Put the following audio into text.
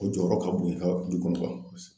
O jɔyɔrɔ ka bon i ka du kɔnɔ